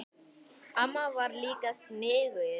Amma var líka sniðug.